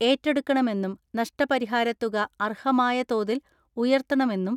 ഏറ്റെടുക്കണമെന്നും നഷ്ടപരിഹാര തുക അർഹമായ തോതിൽ ഉയർത്തണമെന്നും